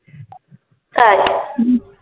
তাই?